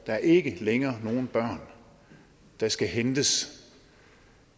der ikke længere er nogen børn der skal hentes